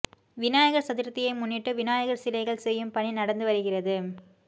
விநாயகர் சதுர்த்தியை முன்னிட்டு விநாயகர் சிலைகள் செய்யும் பணி நடந்து வருகிறது